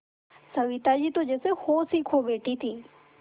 सविता जी तो जैसे होश ही खो बैठी थीं